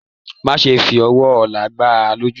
Má ṣe fí ọwọ́ ọlá gbà a lójú!